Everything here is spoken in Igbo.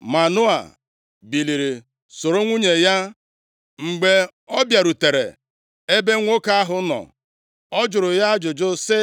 Manoa biliri, soro nwunye ya. Mgbe o bịarutere ebe nwoke ahụ nọ, ọ jụrụ ya ajụjụ sị,